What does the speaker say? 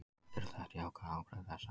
Ekki eru þekkt jákvæð áhrif þessa.